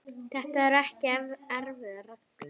Þetta eru ekki erfiðar reglur.